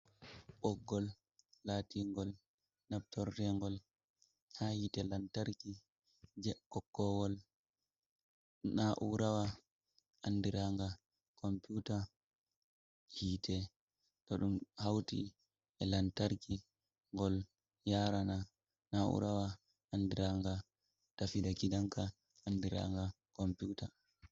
Boggol latingol naftotengol ha hite lantarki. Je kokkowol naurawa anɗiranga komputa hite, to ɗum hauti e lantarki gol yarana naurawa anɗiranga tafida gidanka anɗiranga komputa.